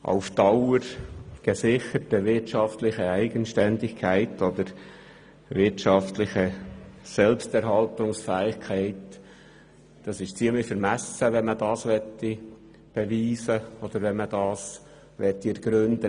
Auf Dauer wirtschaftlich gesicherte Eigenständigkeit» oder «wirtschaftliche Selbsterhaltungsfähigkeit» – dies beweisen oder ergründen zu wollen, wäre ziemlich vermessen.